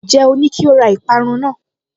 Ǹjẹ́ o ní kí ó ra ìparun náà?